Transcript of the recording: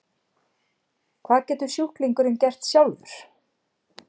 Hvað getur sjúklingurinn gert sjálfur?